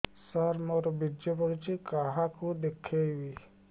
ସାର ମୋର ବୀର୍ଯ୍ୟ ପଢ଼ୁଛି କାହାକୁ ଦେଖେଇବି